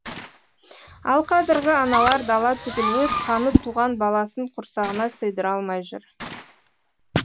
ал қазіргі аналар дала түгіл өз қаны туған баласын құрсағына сыйдыра алмай жүр